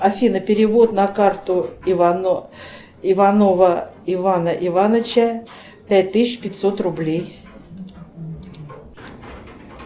афина перевод на карту иванова ивана ивановича пять тысяч пятьсот рублей